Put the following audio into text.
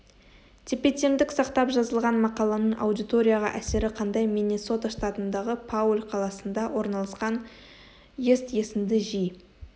тепе-теңдік сақтап жазылған мақаланың аудиторияға әсері қандай миннесота штатындағы пауль қаласында орналасқан ст есіңді жи